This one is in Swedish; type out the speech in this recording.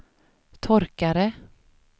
torkare